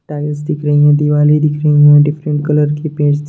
tiles दिख रही है दिवाले दिख रही है डिफरेंट कलर के पेट्स --